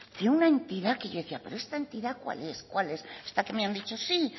que una entidad que yo decía pero esta entidad cuál es hasta que me han dicho sí